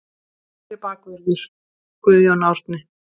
Hægri bakvörður: Guðjón Árni.